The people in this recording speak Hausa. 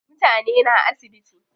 Mutane na asibiti.